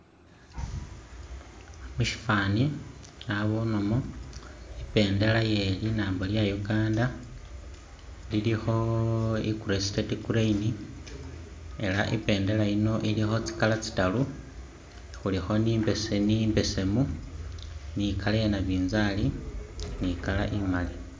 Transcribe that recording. Mushifani nabonemo ibendela ye linambo lye Uganda ilikho crested crane ella ibendela yino ilikho tsi'color tsitaru khulikho ni imbesemu imbesemu ni color ye nabinzali ni color imali